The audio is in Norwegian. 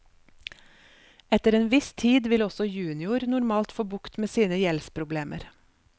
Etter en viss tid vil også junior normalt få bukt med sine gjeldsproblemer.